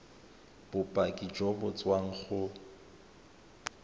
bopaki jo bo tswang go